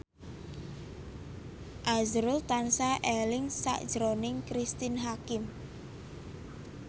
azrul tansah eling sakjroning Cristine Hakim